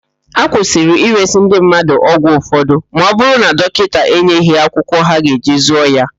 Akwụsịrị ịresị ndị mmadụ ọgwụ ụfọdụ ma ọ bụrụ na dọkịta enyeghị ha akwụkwọ ha ga-eji zụọ ya.